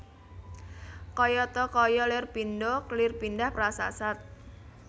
Kayata kaya lir pindha lirpendah prasasat